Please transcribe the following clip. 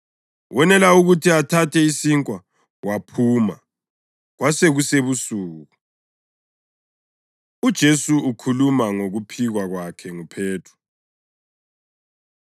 Wonela ukuthi athathe isinkwa waphuma. Kwasekusebusuku. UJesu Ukhuluma Ngokuphikwa Kwakhe NguPhethro